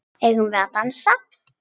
Eigum við að dansa?